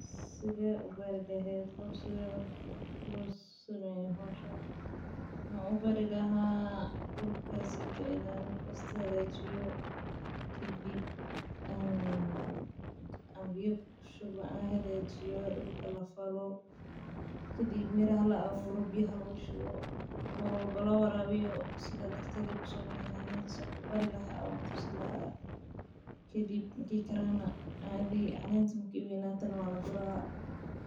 Sithe u bari lehed qof sitha lo sameyo hoshan maxan u bari laha dulka in aa hagajiyo biyo kushubo kadib miraha dulka kushubo kadib miraha marki ee waweynadhana waa laguri.